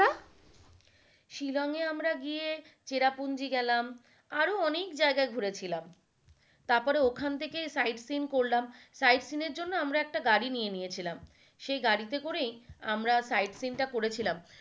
শিলংয়ে আমরা গিয়ে চেরাপুঞ্জি গেলাম, আরো অনেক জায়গায় ঘুরে ছিলাম। তারপরে ওখান থেকে side scene করলাম side scene এর জন্য আমার একটা গাড়ি নিয়ে নিয়েছিলাম সেই গাড়িতে করেই আমরা side scene টা করেছিলাম